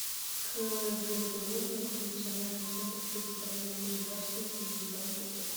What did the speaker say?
кгбу многофункциональный центр предоставления государственных и муниципальных услуг